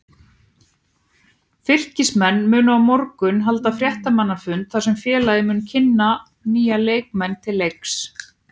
Fylkismenn munu á morgun halda fréttamannafund þar sem félagið mun kynna nýja leikmenn til leiks.